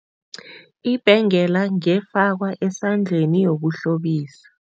Ibhengela ngefakwa esandleni yokuhlobisa.